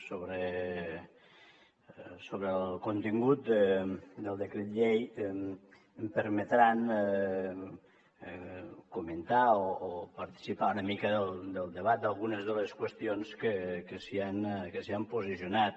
sobre el contingut del decret llei em permetran comentar o participar una mica del debat d’algunes de les qüestions sobre les que s’han posicionat